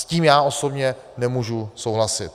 S tím já osobně nemůžu souhlasit.